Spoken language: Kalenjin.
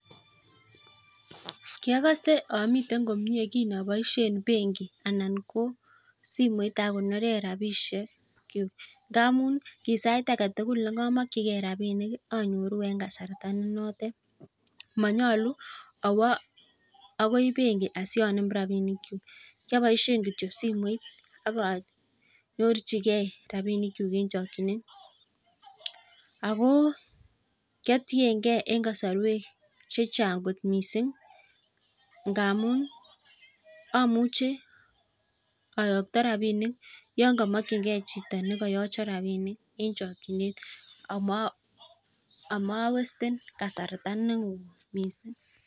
Ki ogose amiten komie kin abosien benki anan ko simoit akonoren rabishekyuk, ngamun ki sait age tugul negomokige rabinik anyoru en kasarta ne notet, monyolu awo akoi bengi asianem rabinkyuk, kyoboishen kityosimoit ak anyorchige rabinikyuk en chokinet. Ago kioteinge en kasarwek che chang kot mising ngamun amuche oyokto rabinik yon komokinge chito ne koyochon rabinik en chokinet amawasten kasarta neo.